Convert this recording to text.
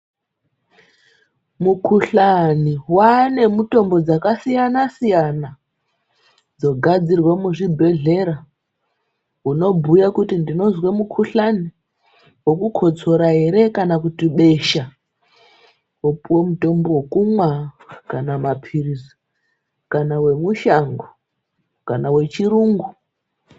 Mukuhlane ,waane mitombo dzakasiyana siyana dzogadzirwa muzvibhedlera. Unobhuya kuti ndinonzwa mukuhlane wokukotsora here kana kuti besha, wopiwe mutombo wokunwa kana mapirisi, kana wemushango ,kana wechirungu.